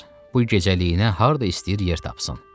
Bu gecəliyinə harda istəyir yer tapsın.